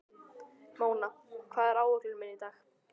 Móna, hvað er á áætluninni minni í dag?